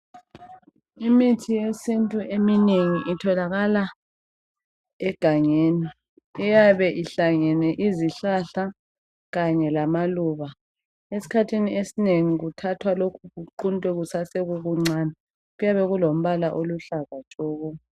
Imithi yesintu eminengi itholakala egangeni. Iyabe ihlangene izihlahla kanye lamaluba. Esikhathini esinengi kuthathwa lokhu kuquntwe kusesekuncane. Kuyabe kulombala oluhlaza tshoko.